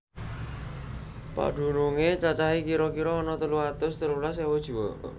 Padunungé cacahé kira kira ana telung atus telulas ewu jiwa